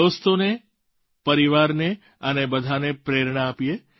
દોસ્તોને પરિવારને અને બધાંને પ્રેરણા આપીએ